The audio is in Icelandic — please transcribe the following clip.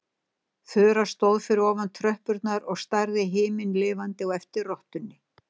Þura stóð fyrir ofan tröppurnar og starði himinlifandi á eftir rottunni.